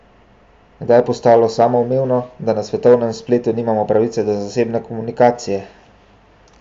Kdaj je postalo samoumevno, da na svetovnem spletu nimamo pravice do zasebne komunikacije?